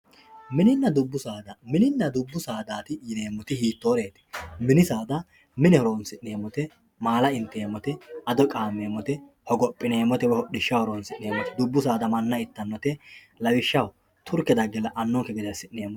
mininna dubbu saada mininna dubbu saadaati yineemmoti hiittoreeti? mini saada mine horonsi'neemmote maala inteemmote ado qaammeemmote woye hodhishshaho horonsi'neemmote dubbu saada manna ittannote turke dagge la"anonke gede assi'neemmote yineemmoti